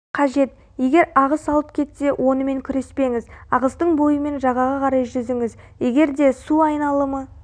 қажет егер ағыс алып кетсе онымен күреспеңіз ағыстың бойымен жағаға қарай жүзіңіз егерде су айналымы